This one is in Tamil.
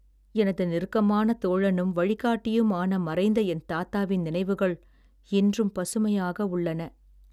எனது நெருக்கமான தோழனும் வழிகாட்டியும் ஆன மறைந்த என் தாத்தா வின் நினைவுகள் இன்றும் பசுமையாக உள்ளன